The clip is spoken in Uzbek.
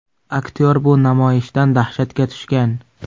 Aktyor bu namoyishdan dahshatga tushgan.